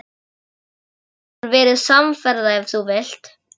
Þú getur verið samferða ef þú vilt.